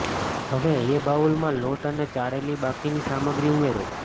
હવે એ બાઉલ માં લોટ અને ચાળેલી બાકી ની સામગ્રી ઉમેરો